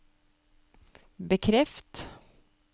bekreft